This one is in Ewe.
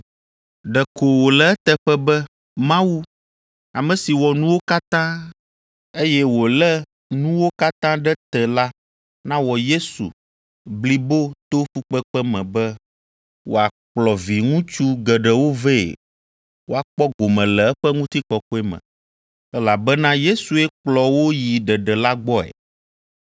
Ɖeko wòle eteƒe be Mawu, ame si wɔ nuwo katã, eye wòlé nuwo katã ɖe te la nawɔ Yesu blibo to fukpekpe me be wòakplɔ viŋutsu geɖewo vɛ woakpɔ gome le eƒe ŋutikɔkɔe me, elabena Yesue kplɔ wo yi ɖeɖe la gbɔe.